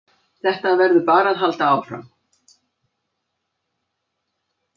Þetta verður bara að halda áfram